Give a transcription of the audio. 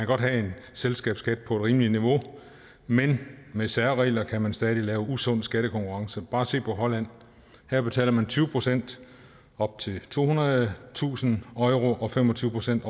godt have en selskabsskat på et rimeligt niveau men med særregler kan man stadig lave usund skattekonkurrence bare se på holland her betaler man tyve procent op til tohundredetusind euro og fem og tyve procent